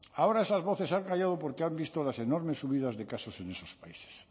ahora esas voces se han callado porque han visto las enormes subidas de casos en esos países